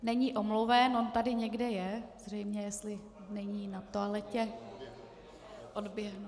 Není omluven, on tady někde je, zřejmě jestli není na toaletě, odběhl.